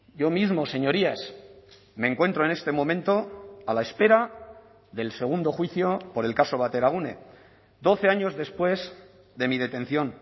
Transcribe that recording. yo mismo señorías me encuentro en este momento a la espera del segundo juicio por el caso bateragune doce años después de mi detención